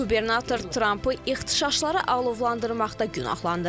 Qubernator Trampı ixtişaşları alovlandırmaqda günahlandırır.